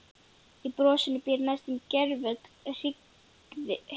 Í brosinu býr næstum gervöll hryggð heimsins.